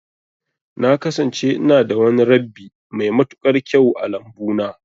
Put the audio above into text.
Na kasance ina da wani rabbi mai matuƙar kyau a lambu na.